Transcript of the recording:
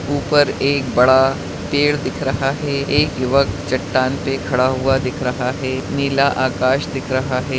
ऊपर एक बड़ा पेड़ दिख रहा है एक युवक चट्टान पे खड़ा हुआ दिख रहा है नीला आकाश दिख रहा है।